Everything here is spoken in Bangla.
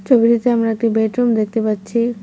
ছবিটিতে আমরা একটি বেডরুম দেখতে পাচ্ছি।